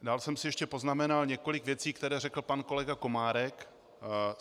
Dál jsem si ještě poznamenal několik věcí, které řekl pan kolega Komárek.